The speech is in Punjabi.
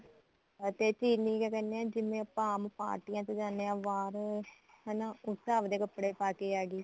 ਅਤੇ ਚਿਰੀ ਤਾਂ ਕਹਿੰਦੇ ਐ ਜਿਵੇਂ ਆਪਾਂ ਆਮ ਪਾਰਟੀਆਂ ਚ ਜਾਣੇ ਆ ਬਾਹਰ ਹਨਾ ਉਸ ਤਰ੍ਹਾਂ ਆਪਣੇ ਕੱਪੜੇ ਪਾਕੇ ਆ ਗਈ